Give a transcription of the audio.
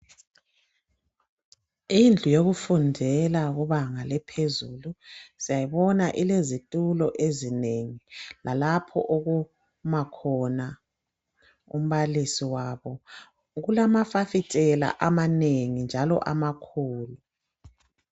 Indlu yokufundela kubanga laphezulu siyayibona ilezitulo ezinengi lalapho okuma khona umbalisi wabo ,kulamafasitela amanengi njalo amakhulu.